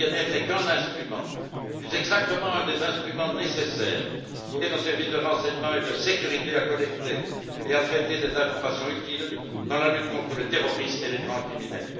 Le PNR n'est qu'un instrument, plus exactement un des instruments nécessaires pour aider nos services de renseignement et de sécurité à collecter et à traiter des informations utiles dans la lutte contre les terroristes et les grands criminels.